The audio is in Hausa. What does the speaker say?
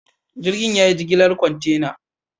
Jirgin ya yi jigilar kwantena.